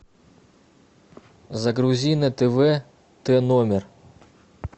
загрузи на тв т номер